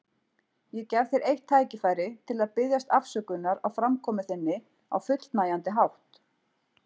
Ég gef þér eitt tækifæri til að biðjast afsökunar á framkomu þinni á fullnægjandi hátt.